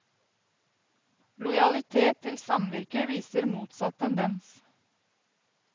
Lojalitet til samvirket viser motsatt tendens.